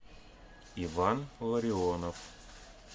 иван ларионов